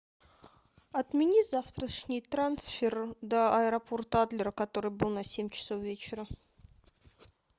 отмени завтрашний трансфер до аэропорта адлер который был на семь часов вечера